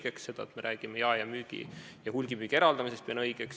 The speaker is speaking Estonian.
Pean õigeks seda, et me räägime jaemüügi ja hulgimüügi eraldamisest.